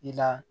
I la